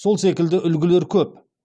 сол секілді үлгілер көп